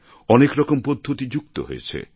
অনেক রকম পদ্ধতি যুক্ত হয়েছে